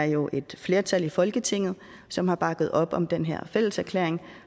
jo er et flertal i folketinget som har bakket op om den her fælleserklæring